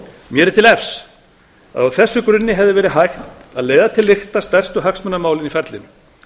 mér er til efs að á þessum grunni hefði verið hægt að leiða til lykta stærstu hagsmunamálin í ferlinu